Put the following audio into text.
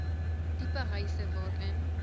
tipe huise waarin